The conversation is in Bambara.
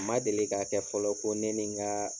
Ma deli ka kɛ fɔlɔ ko ne ni ŋaa